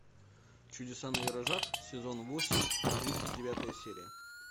чудеса на виражах сезон восемь тридцать девятая серия